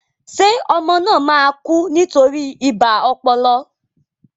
Ṣé ọmọ náà máa kú nítorí ibà ọpọlọ?